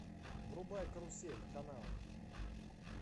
врубай карусель канал